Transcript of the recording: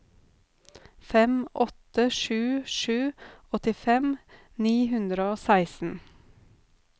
fem åtte sju sju åttifem ni hundre og seksten